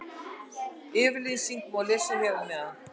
Yfirlýsinguna má lesa hér að neðan.